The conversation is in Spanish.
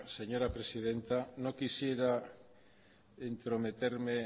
señora presidenta no quisiera entrometerme